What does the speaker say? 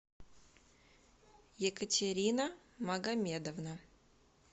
екатерина магомедовна